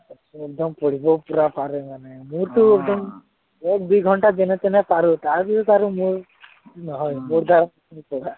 একদম পঢ়িব পূৰা মনেই নাযায়, মোৰতো একদম এক দুই ঘন্টা যেনেতেনে পাৰো তাৰপিছত আৰু মোৰ হয়, মোৰতো